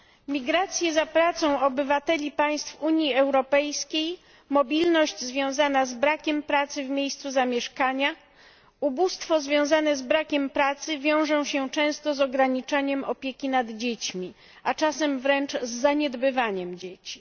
Migracje za pracą obywateli państw Unii Europejskiej, mobilność związana z brakiem pracy w miejscu zamieszkania, ubóstwo związane z brakiem pracy wiążą się często z pogorszeniem opieki nad dziećmi, a czasem wręcz z zaniedbywaniem dzieci.